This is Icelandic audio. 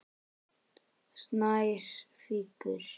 Snær fýkur.